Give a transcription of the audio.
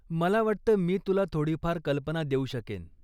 मला वाटतं मी तुला थोडीफार कल्पना देऊ शकेन.